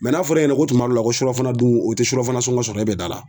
n'a fɔra e ɲɛna ko kuma dɔw la ko surafana dun o tɛ surafana sɔngɔ sɔrɔ e bɛ da o la?